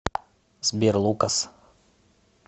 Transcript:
сбер лукас